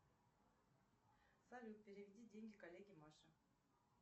салют переведи деньги коллеге маше